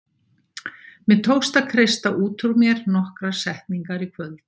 Mér tókst að kreista út úr mér nokkrar setningar í kvöld.